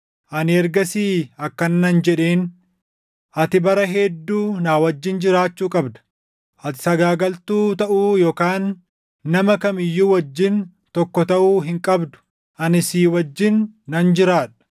Ani ergasii akkana nan jedheen; “Ati bara hedduu na wajjin jiraachuu qabda; ati sagaagaltuu taʼuu yookaan nama kam iyyuu wajjin tokko taʼuu hin qabdu; ani si wajjin nan jiraadha.”